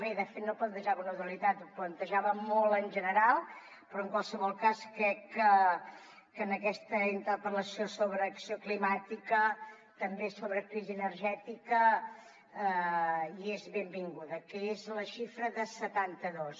bé de fet no plantejava una dualitat ho plantejava molt en general però en qualsevol cas crec que en aquesta interpel·lació sobre acció climàtica també sobre crisi energètica hi és benvinguda que és la xifra de setanta dos